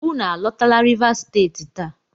Unu alotala Rivas Steeti taa!